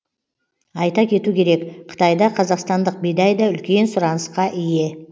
айта кету керек қытайда қазақстандық бидай да үлкен сұранысқа ие